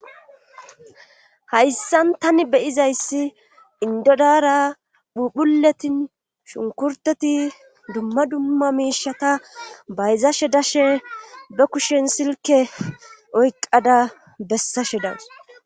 hayssan tani be7izayssi indo dara phuphuletin shunkurteti dumma dumma miishata bayzashe dashe be kushen silke oyqqada bessashe danes.